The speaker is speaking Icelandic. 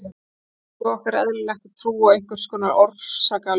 Í daglegu lífi okkar er eðlilegt að trúa á einhvers konar orsakalögmál.